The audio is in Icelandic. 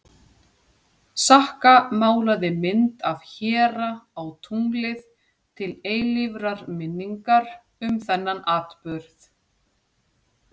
Sakka málaði mynd af héra á tunglið til eilífrar minningar um þennan atburð.